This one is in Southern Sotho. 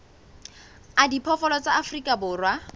a diphoofolo tsa afrika borwa